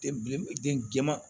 Den den jɛman